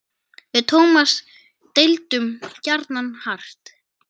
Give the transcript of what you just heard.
Við Tómas deildum gjarnan hart.